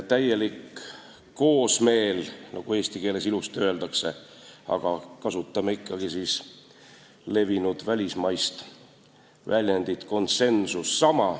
Täielik koosmeel, nagu eesti keeles ilusti öeldakse, aga kasutame ikkagi levinud välismaist väljendit: täielik konsensus.